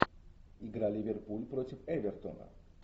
игра ливерпуль против эвертона